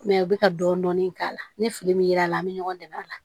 Mɛ u bɛ ka dɔɔnin dɔɔnin k'a la ni fili min yera an bɛ ɲɔgɔn dɛmɛ a la